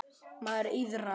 Mæður iðrast.